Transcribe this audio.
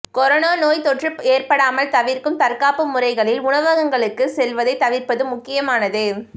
corona நோய் தொற்று ஏற்படாமல் தவிர்க்கும் தற்காப்பு முறைகளில் உணவகங்களுக்கு செல்வதை தவிர்ப்பது முக்கியமானது